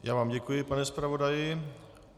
Já vám děkuji, pane zpravodaji.